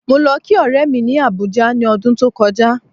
Mo lo kí ọ̀rẹ́ mi ni Abuja ni ọdún tó kọjá